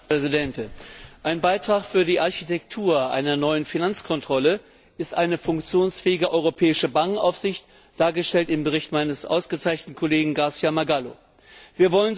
Frau Präsidentin! Ein Beitrag für die Architektur einer neuen Finanzkontrolle ist eine funktionsfähige europäische Bankenaufsicht, dargestellt im Bericht meines ausgezeichneten Kollegen García Margallo y Marfil.